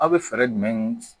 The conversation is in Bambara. Aw bɛ fɛɛrɛ jumɛn